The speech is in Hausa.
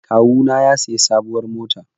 Kawuna ya sayi sabuwar mota